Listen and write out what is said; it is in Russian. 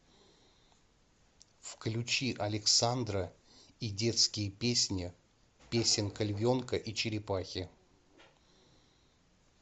включи александра и детские песни песенка львенка и черепахи